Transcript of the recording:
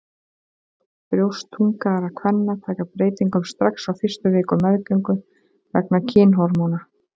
Brjóst þungaðra kvenna taka breytingum strax á fyrstu vikum meðgöngu vegna kynhormóna.